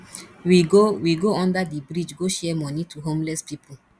we go we go under the bridge go share money to homeless people